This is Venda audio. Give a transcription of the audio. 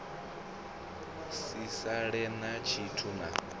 si sale na tshithu na